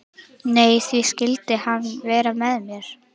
Nei, því skyldi hann vera með mér?